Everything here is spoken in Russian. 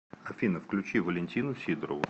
афина включи валентину сидорову